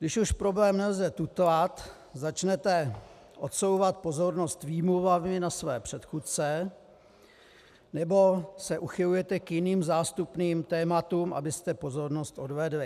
Když už problém nelze tutlat, začnete odsouvat pozornost výmluvami na své předchůdce nebo se uchylujete k jiným, zástupným tématům, abyste pozornost odvedli.